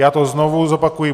Já to znovu zopakuji.